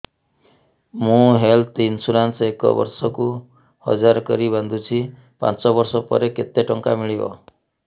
ମୁ health insurance ଏକ ବର୍ଷକୁ ହଜାର କରି ବାନ୍ଧୁଛି ପାଞ୍ଚ ବର୍ଷ ପରେ କେତେ ଟଙ୍କା ମିଳିବ